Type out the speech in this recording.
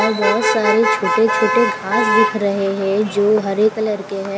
और बहुत सारे छोटे छोटे घास दिख रहे हैं जो हरे कलर के है।